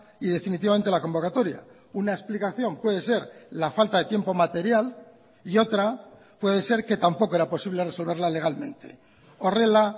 y definitivamente la convocatoria una explicación puede ser la falta de tiempo material y otra puede ser que tampoco era posible resolverla legalmente horrela